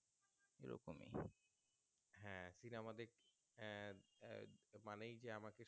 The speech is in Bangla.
মানেই যে আমাকে